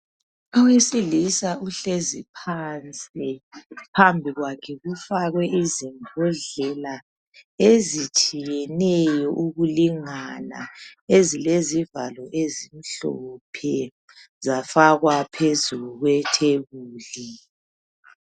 Owesilisa uhlezi phansi phambi kwakhe kufakwe izimbodlela ezitshiyeneyo ukulingana ezilezivalo ezimhlophe zafakwa phezulu kwethebuli.